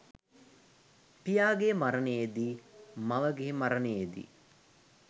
පියාගේ මරණයේදී මවගේ මරණයේදී,